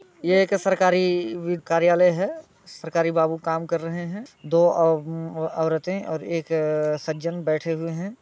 ये एक सरकारी वीर कार्यालय हैं सरकारी बाबू काम कर रहे हैं दो औरते और एक सज्जन बैठे हुए हैं।